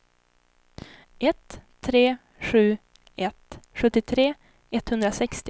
ett tre sju ett sjuttiotre etthundrasextio